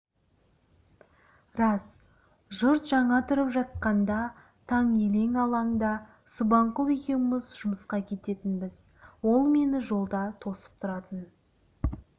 рас жұрт жаңа тұрып жатқанда таң елең-алаңда субанқұл екеуміз жұмысқа кететінбіз ол мені жолда тосып тұратын